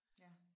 Ja